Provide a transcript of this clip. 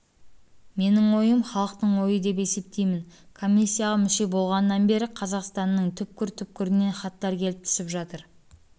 менің ойым халықтың ойы деп есептеймін комиссияға мүше болғаннан бері қазақстанның түкпір-түкпірінен хаттар келіп түсіп жатыр